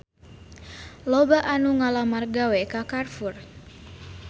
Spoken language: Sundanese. Loba anu ngalamar gawe ka Carrefour